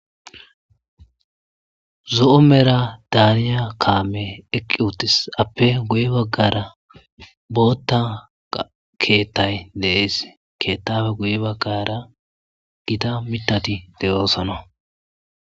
zo7o mera daaniya kaame eqqi uttis appe guye baggara bootta keettay dees keettabe guye baggara gita mitati deyoosana